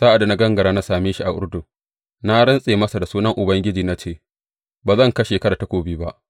Sa’ad da ya gangara ya same ni a Urdun, na rantse masa da sunan Ubangiji na ce, Ba zan kashe ka da takobi ba.’